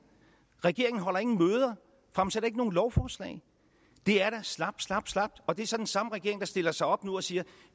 regeringen holder ingen møder fremsætter ikke nogen lovforslag det er da slapt slapt slapt og det er så den samme regering der stiller sig op nu og siger